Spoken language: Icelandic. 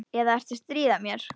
Eða ertu að stríða mér?